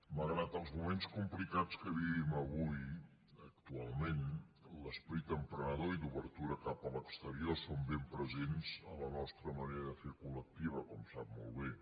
malgrat els moments complicats que vivim avui actualment l’esperit emprenedor i d’obertura cap a l’exterior són ben presents a la nostra manera de fer collectiva com sap molt bé